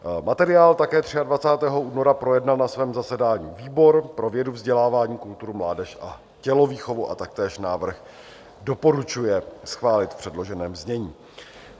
Materiál také 23. února projednal na svém zasedání výbor pro vědu, vzdělání, kulturu, mládež a tělovýchovu a taktéž návrh doporučuje schválit v předloženém znění.